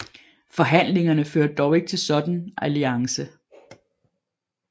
Forhandlingerne førte dog ikke til en sådan alliance